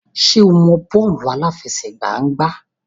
Ṣé o mọ bọ́ọ̀lù àláfẹsẹ̀gbá gbá?